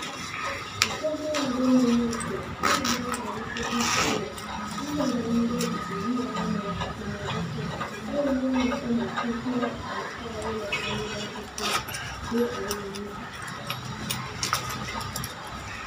Aƒegã aɖe me nye esia eye nyɔnu aɖe kple ŋutsu wole ŋutsua nɔ anyi ɖe zikpui ɣi aɖe me le kaƒomɔ dzi kpɔm eye nyɔnua kɔ masini kple atiawo le anyigbã tutum do awu